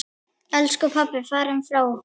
Elsku pabbi farinn frá okkur.